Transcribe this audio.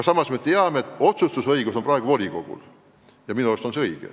Me teame, et otsustusõigus on praegu volikogul ja minu arust on see õige.